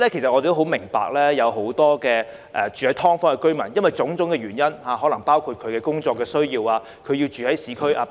我們明白，很多"劏房"居民基於種種原因，例如工作或上學需要，而要住在市區。